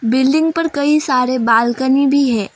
Building पर कई सारे बालकनी भी है।